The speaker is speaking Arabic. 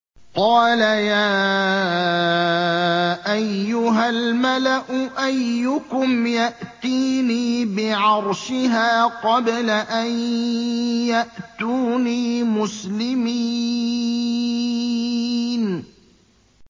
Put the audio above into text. قَالَ يَا أَيُّهَا الْمَلَأُ أَيُّكُمْ يَأْتِينِي بِعَرْشِهَا قَبْلَ أَن يَأْتُونِي مُسْلِمِينَ